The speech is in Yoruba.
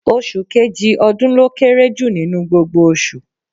Oṣù kejì ọdún ló kéré jù nínú gbogbo oṣù.